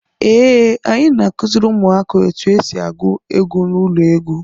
Ee, anyị na-akụziri ụmụaka otu esi agụ egwu n'ụlọ egwu.